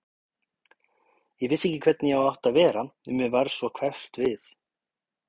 Ég vissi ekki hvernig ég átti að vera, mér varð svo hverft við.